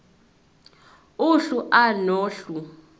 uhlu a nohlu